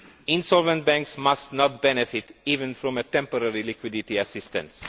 Insolvent banks must not benefit even from temporary liquidity assistance.